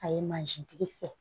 A ye tigi fɛ